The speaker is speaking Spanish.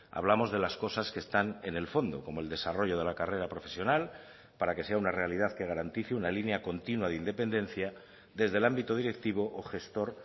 hablamos de las cosas que están en el fondo como el desarrollo de la carrera profesional para que sea una realidad que garantice una línea continua de independencia desde el ámbito directivo o gestor